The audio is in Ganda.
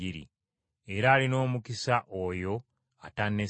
Era alina omukisa oyo atanneesittalako.”